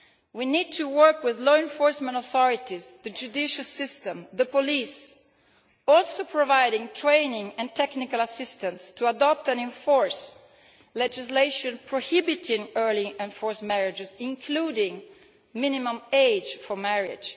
We need to work with law enforcement authorities, the judicial system and the police, and also to provide training and technical assistance to promote the adoption and enforcement of legislation prohibiting early and forced marriages, including a minimum age for marriage.